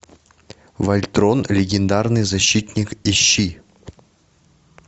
вольтрон легендарный защитник ищи